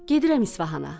Gedirəm İsfahana.